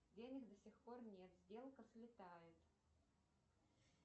денег до сих пор нет сделка слетает